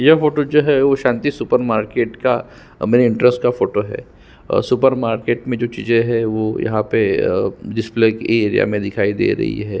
यह फोटो जो है शांति सुपर मार्किट का मने इंट्रेस का फोटो और सुपर मार्किट में जो चीज़े है वो यहाँ पे जिसमे की एरिया में दिखाई दे रही है।